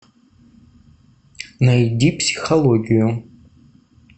найди психологию